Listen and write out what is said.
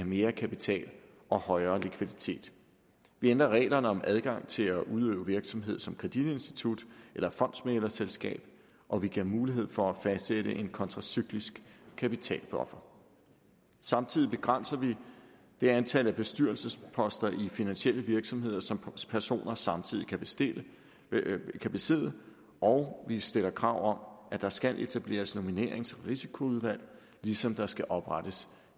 mere kapital og højere likviditet vi ændrer reglerne om adgang til at udøve virksomhed som kreditinstitut eller fondsmæglerselskab og vi giver mulighed for at fastsætte en kontracyklisk kapitalbuffer samtidig begrænser vi det antal bestyrelsesposter i finansielle virksomheder som personer samtidig kan besidde kan besidde og vi stiller krav at der skal etableres nominerings og risikoudvalg ligesom der skal oprettes